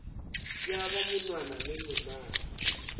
ya ba monwana le lenala